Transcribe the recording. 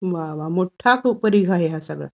वा वा मोठा समुदाय आहे हा सगळा